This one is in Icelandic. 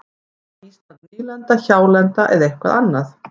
Var Ísland nýlenda, hjálenda eða eitthvað annað?